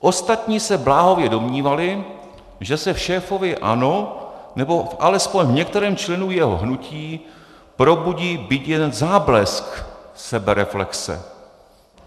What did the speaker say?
"Ostatní se bláhově domnívali, že se v šéfovi ANO nebo alespoň v některém členu jeho hnutí probudí byť jeden záblesk sebereflexe.